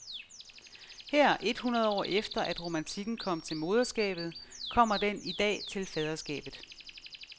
Her et hundrede år efter, at romantikken kom til moderskabet, kommer den i dag til faderskabet.